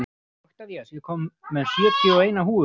Oktavías, ég kom með sjötíu og eina húfur!